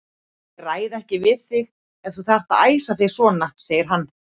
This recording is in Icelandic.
Ég ræði ekki við þig ef þú þarft að æsa þig svona, segir hann.